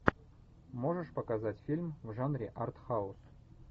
можешь показать фильм в жанре арт хаус